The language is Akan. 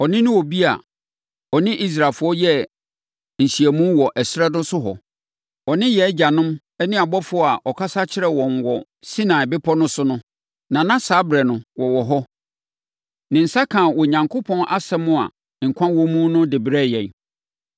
Ɔno ne obi a ɔne Israelfoɔ yɛɛ nhyiamu wɔ ɛserɛ no so hɔ; ɔne yɛn agyanom ne ɔbɔfoɔ a ɔkasa kyerɛɛ wɔn wɔ Sinai Bepɔ no so no, na na saa ɛberɛ no wɔwɔ hɔ. Ne nsa kaa Onyankopɔn asɛm a nkwa wɔ mu no de brɛɛ yɛn.